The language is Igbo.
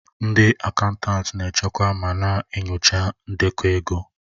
Ndị akaụntanti na-echekwa ma na-enyocha ndekọ ego.